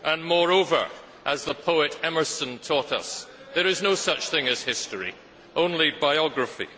Moreover, as the poet Emerson taught us, there is no such thing as history, only biography.